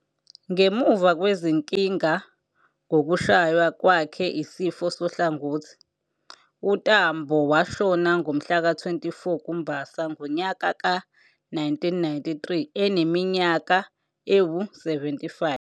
Ngemuva kwezinkinga ngokushaywa kwakhe isifo sohlangothi, uTambo washona ngomhlaka-24 kuMbasa, ngonyaka ka-1993 eneminyaka ewu-75.